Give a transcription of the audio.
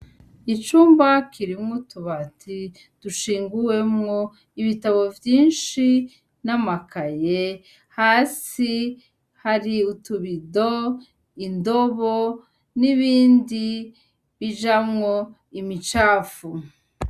Icumba kirimwo utubati dushinguwemwo ibitabo vyinshi n'amakaye. Hasi, hari utubido, indobo, n'ibindi bijamwo imicafu.